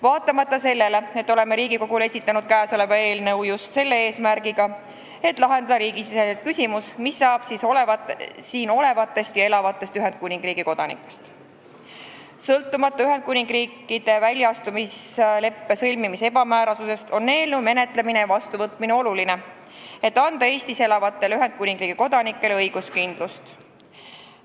Vaatamata sellele, et oleme Riigikogule esitanud kõnealuse eelnõu just eesmärgiga lahendada riigisisest küsimust, mis saab siin olevatest ja elavatest Ühendkuningriigi kodanikest, ning sõltumata Ühendkuningriigi väljaastumise leppe sõlmimise ebamäärasusest on eelnõu menetlemine ja vastuvõtmine oluline, et anda Eestis elavatele Ühendkuningriigi kodanikele õiguskindlust.